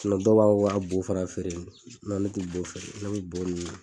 dɔw b'a fɔ k'o b'a bu fana feere ne tɛ bu feere ne bɛ bu